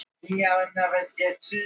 Kjaraviðræður á bláþræði